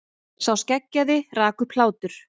Sá skeggjaði rak upp hlátur.